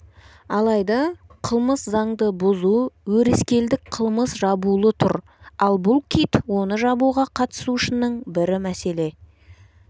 алайда қылмыс заңды бұзу өрескелдік қылмыс жабулы тұр ал бұл кит оны жабуға қатысушының бірі мәселе